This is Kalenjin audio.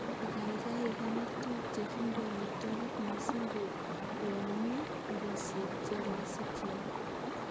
Ikaigai ikonor tuguk chekindo amitwogiik missing ko yon mi ekosiek che roisi kial.